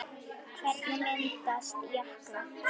Hvernig myndast jöklar?